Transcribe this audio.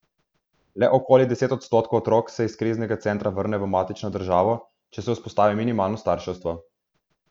Le okoli deset odstotkov otrok se iz kriznega centra vrne v matično družino, če se vzpostavi minimalno starševstvo.